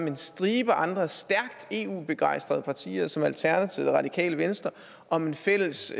en stribe andre stærkt eu begejstrede partier som alternativet og radikale venstre om et fælles